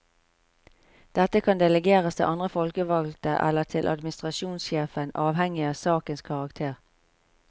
Dette kan delegeres til andre folkevalgte eller til administrasjonssjefen, avhengig av sakens karakter.